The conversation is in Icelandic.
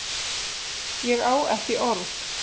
Ég á ekki orð!